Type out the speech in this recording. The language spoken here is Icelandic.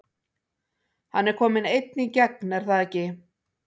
Hann er kominn einn í gegn er það ekki?